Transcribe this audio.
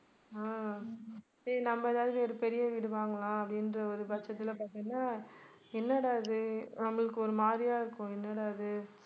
ஆஹ் சரி நம்ம ஏதாவது ஒரு பெரிய வீடு வாங்கலாம் அப்படின்ற ஒரு பட்சத்துல பாத்தீங்கன்னா என்னடா இது நம்மளுக்கு ஒரு மாதிரியா இருக்கும் என்னடா இது